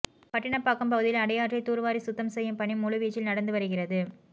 பட்டினப்பாக்கம் பகுதியில் அடையாற்றை தூர்வாரி சுத்தம் செய்யும் பணி முழு வீச்சில் நடந்து வருகிறது